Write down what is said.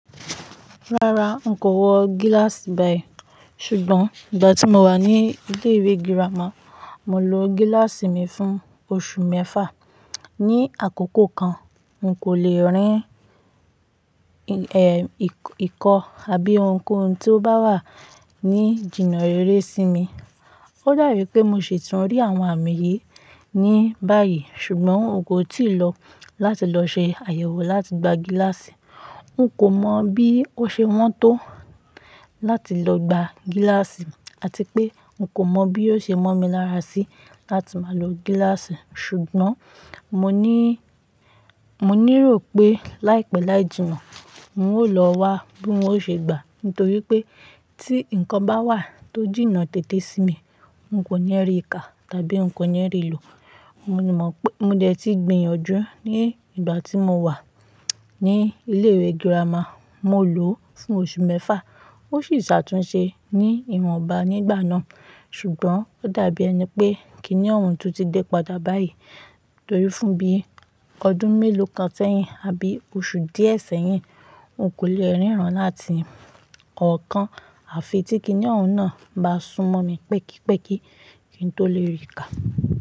Rárá, n kò wọ gíláàsì báyìí. Ṣùgbọ́n ìgbà tí mo wà ní ilé ìwé girama, mo lo gíláàsì mi fún oṣù mẹ́fà. Ni àkókò kan, n kò lè rín, eh, ìkọ, àbí ohunkóhun tí ó bá wà ní jìnnà rere sí mi. Ó dàbí pé mo ṣitun rí àwọn àmì yìí ní báyìí ṣùgbọ́n n kò tíì lọ láti lọ ṣe àyẹ̀wò láti gba gíláàsì. N kò mọ bí ó ṣe wọ́n tó láti lọ gba gíláàsì àti pé n kò mọ bí yóò ṣe mọ́ mi lára sí láti máa lo gíláàsì. Ṣùgbọ́n mo ní, mo nírò pé láìpẹ́ láì jìnnà, n ó lọ wá bí ọ́un ó ṣe gbà nítorí pé tí nǹkan bá wà tó jìnnà tètè sí mi, n kò ní rí ìkà tàbí n kò ní rí ìlò. Mo ní mọ pé mo dẹ̀ ti gbìyànjú ní ìgbà tí mo wà ní ilé ìwé girama, mo lòó fún oṣù mẹ́fà. Ó sì ṣàtúnṣe ní ìwọ̀nba nígbà náà. Ṣùgbọ́n ó dàbí ẹni pé kíni ọ̀hún tó ti dé padà báyìí torí fún bí ọdún mélòó kan sẹ́yìn àbí oṣù díẹ̀ sẹ́yìn, n kò lè ríran láti kọ̀ọ̀kan. À fi tí kíni ọ̀hún náà bá súnmọ́ mi pẹ́kípẹ́kí kí n tó lè rí kà.